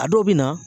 A dɔw bɛ na